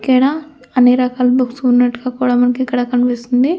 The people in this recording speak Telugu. ఇక్కడ అన్ని రకాల బుక్స్ కూడా ఉన్నట్టుగా మనకి ఇక్కడ కనిపిస్తుంది అలాగే--